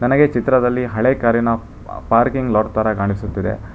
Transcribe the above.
ನನಗೆ ಚಿತ್ರದಲ್ಲಿ ಹಳೆ ಕಾರ್ ಇನ ಪಾರ್ಕಿಂಗ್ ಲಾಟ್ ತರ ಕಾಣಿಸುತ್ತಿದೆ.